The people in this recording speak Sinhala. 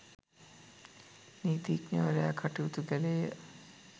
නීතිඥවරයා කටයුතු කළේය